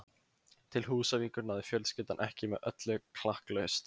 Til Húsavíkur náði fjölskyldan ekki með öllu klakklaust.